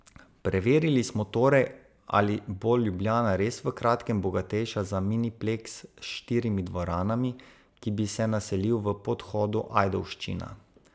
Preverili smo torej, ali bo Ljubljana res v kratkem bogatejša za minipleks s štirimi dvoranami, ki bi se naselil v podhodu Ajdovščina.